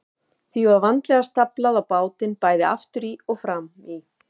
Því var vandlega staflað á bátinn, bæði aftur í og fram í.